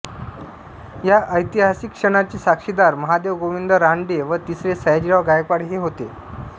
या ऐतिहासिक क्षणाचे साक्षीदार महादेव गोविंद रानडे व तिसरे सयाजीराव गायकवाड हे होते